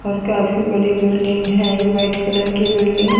और काफी बड़ी बिल्डिंग है ये व्हाइट कलर की बिल्डिंग --